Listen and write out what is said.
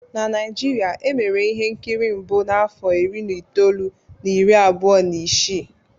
Na Naijiria, e mere ihe nkiri mbụ n'afọ iri na itoolu na iri abụọ na isii